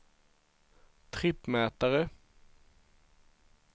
trippmätare